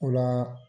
O la